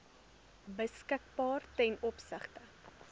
beskikbaar ten opsigte